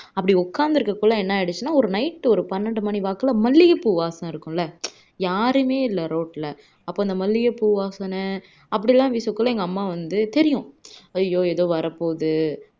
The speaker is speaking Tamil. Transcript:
அப்படி உக்காந்துருக்ககுள்ள என்ன ஆயிடுச்சுன்னா night ஒரு பன்னெண்டு மணி வாக்குல மல்லிகை பூ வாசம் இருக்கும்ல யாருமே இல்ல road ல அப்போ இந்த மல்லிகை பூ வாசனை அப்படியெல்லாம் வீசக்குள்ள எங்க அம்மா வந்து தெரியும் ஐயோ எதோ வரப்போகுது